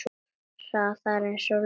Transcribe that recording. Hraðar en ljósið.